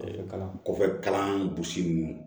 kalan kɔfɛ kalan bosi ninnu